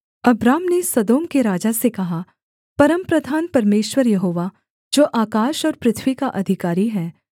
Abram ने Sodom के राजा से कहा परमप्रधान परमेश्वर यहोवा जो आकाश और पृथ्वी का अधिकारी है